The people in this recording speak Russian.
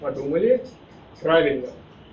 подумали правильно